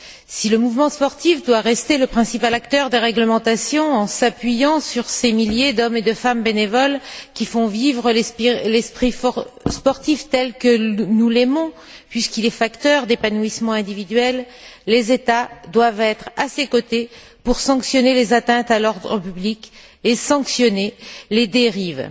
Si le mouvement sportif doit rester le principal acteur des réglementations en s'appuyant sur ces milliers d'hommes et de femmes bénévoles, qui font vivre l'esprit sportif tel que nous l'aimons puisqu'il est facteur d'épanouissement individuel, les États doivent être à ses côtés pour sanctionner les atteintes à l'ordre public et sanctionner les dérives.